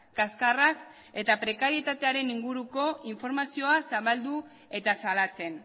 kaskarrak eta prekarietatearen inguruko informazioa zabalduz eta salatzen